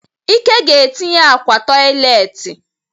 Ike ga etinye akwa toịletị.